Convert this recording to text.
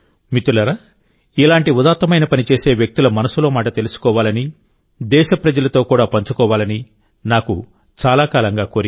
మిత్రులారాఇలాంటి ఉదాత్తమైన పని చేసే వ్యక్తుల మనసులో మాట తెలుసుకోవాలని దేశప్రజలతో కూడా పంచుకోవాలని నాకు చాలా కాలంగా కోరిక